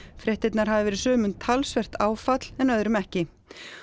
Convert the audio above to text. fréttirnar hafi verið sumum talsvert áfall en öðrum ekki